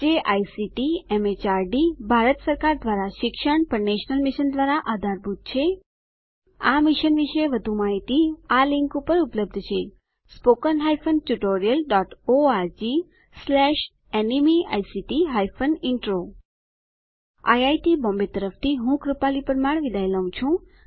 જે ICT MHRD Bharat સરકાર દ્વારા શિક્ષણ પર નેશનલ મિશન દ્વારા આધારભૂત છે આ મિશન વિશે વધુ માહીતી આ લીંક ઉપર ઉપલબ્ધ છે httpspoken tutorialorgNMEICT Intro IIT Bombay તરફથી ભાષાંતર કરનાર હું કૃપાલી પરમાર વિદાય લઉં છું